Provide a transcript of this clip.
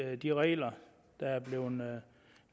at de regler der er blevet